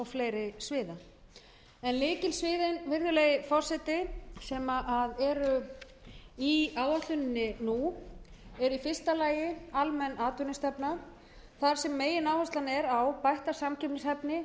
fleiri sviða en lykilsvið virðulegi forseti sem eru í áætluninni nú eru í fyrsta lagi almenn atvinnustefna þar sem megináherslan er á bætta samkeppnishæfni nýsköpun